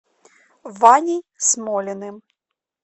ваней смолиным